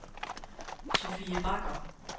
Sofie Bagger